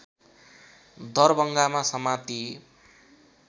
दरभङ्गामा समातिए